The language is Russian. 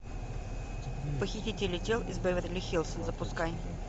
похитители тел из беверли хиллз запускай